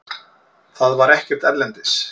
Það var ekkert erlendis.